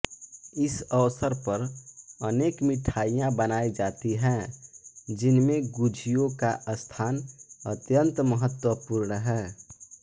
इस अवसर पर अनेक मिठाइयाँ बनाई जाती हैं जिनमें गुझियों का स्थान अत्यंत महत्त्वपूर्ण है